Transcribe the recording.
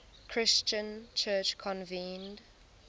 christian church convened